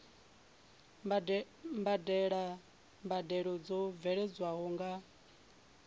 badela mbadelo dzo bveledzwaho nga